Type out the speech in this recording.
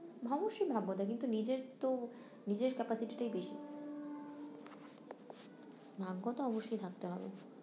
অবশ্যই ভাগ্য থাকে কিন্তু নিজের তো নিজের capacity টাই বেশি ভাগ্য তো অবশ্যই থাকতেহবে